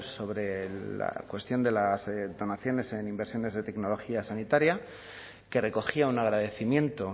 sobre la cuestión de las donaciones en inversiones de tecnología sanitaria que recogía un agradecimiento